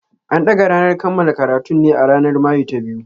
An dagga ranar kammala karatun ne a ranar Mayu ta biyu.